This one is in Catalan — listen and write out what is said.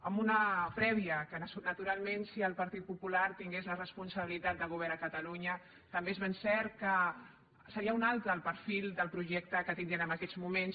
amb una prèvia que naturalment si el partit popular tingués la responsabilitat de govern a catalunya també és ben cert que seria un altre el perfil del projecte que tindríem en aquests moments